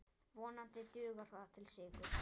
Vonandi dugar það til sigurs.